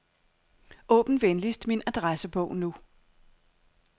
Åbn venligst min adressebog nu.